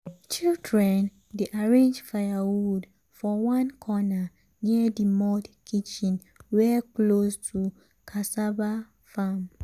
children dey arrange firewood for one corner near the mud kitchen wey close to cassava farm. um